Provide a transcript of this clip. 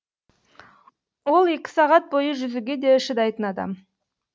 ол екі сағат бойы жүзуге де шыдайтын адам